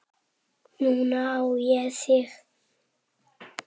Núna á ég þig.